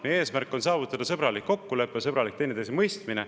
Meie eesmärk on saavutada sõbralik kokkulepe, sõbralik teineteisemõistmine.